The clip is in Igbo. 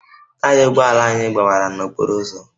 Taya ụgbọ ala anyị gbawara n'okporo ụzọ